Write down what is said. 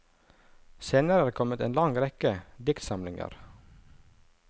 Senere er det kommet en lang rekke diktsamlinger.